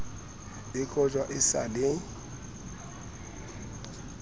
e kojwa e sa le